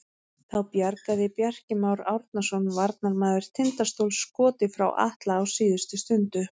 Þá bjargaði Bjarki Már Árnason varnarmaður Tindastóls skoti frá Atla á síðustu stundu.